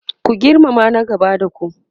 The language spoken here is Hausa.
ku girmama na gaba da ku!